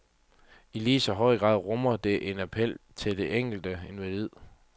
I lige så høj grad rummer det en appel til det enkelte individ.